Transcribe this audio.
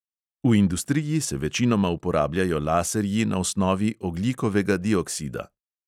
V industriji se večinoma uporabljajo laserji na osnovi ogljikovega dioksida.